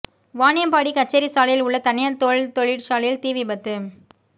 வாணியம்பாடி கச்சேரி சாலையில் உள்ள தனியார் தோல் தொழிற்சாலையில் தீ விபத்து